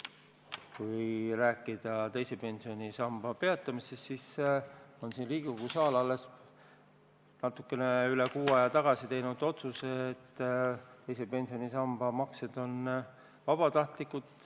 Kui rääkida teise pensionisamba maksete peatamisest, siis Riigikogu saal on alles natukene üle kuu aja tagasi teinud otsuse, et teise pensionisamba maksed on vabatahtlikud.